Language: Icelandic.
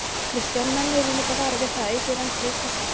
Kristján: Menn urðu líka varir við það, aukið rennsli í Krossá?